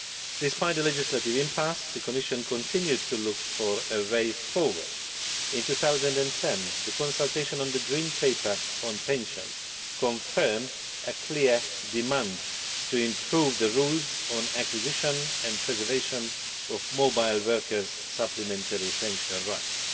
Despite a legislative impasse, the Commission continued to look for a way forward. In 2010, the consultation on the Green Paper on pensions confirmed a clear demand to improve the rules on acquisition and preservation of mobile workers' supplementary pension rights.